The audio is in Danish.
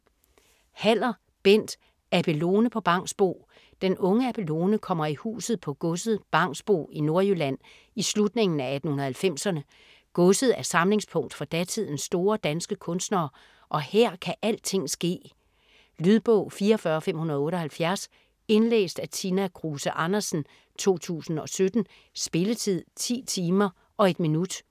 Haller, Bent: Abelone på Bangsbo Den unge Abelone kommer i huset på godset Bangsbo i Nordjylland i slutningen af 1890'erne. Godset er samlingspunkt for datidens store danske kunstnere og her kan alting ske. Lydbog 44578 Indlæst af Tina Kruse Andersen, 2017. Spilletid: 10 timer, 1 minut.